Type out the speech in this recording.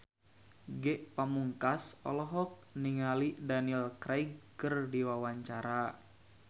Ge Pamungkas olohok ningali Daniel Craig keur diwawancara